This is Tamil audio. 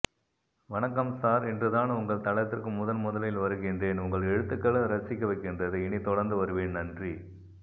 வணக்கம் சார் இன்றுதான் உங்கள் தளத்திற்கு முதன் முதலில் வருகின்றேன் உங்கள் எழுத்துக்கள் ரசிக்கவைக்கின்றது இனி தொடர்ந்து வருவேன் நன்றி